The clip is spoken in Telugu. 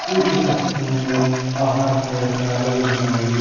ఈ చిత్రపటము లో ఆహార పదార్థాలు ఉన్నాయి.